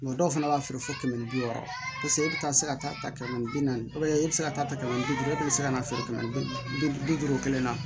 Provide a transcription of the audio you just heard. dɔw fana b'a feere fo kɛmɛ ni bi wɔɔrɔ e bɛ taa se ka taa ta kɛmɛ bi naani e bɛ se ka taa ta kɛmɛ bi duuru e bɛ se ka na feere kɛmɛ ni bi duuru duuru bi duuru kelen na